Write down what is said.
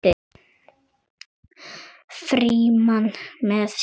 Frímann með sér.